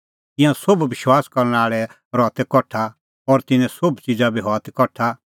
तिंयां सोभ विश्वास करनै आल़ै रहा तै कठा और तिन्नें सोभ च़िज़ा बी हआ ती कठा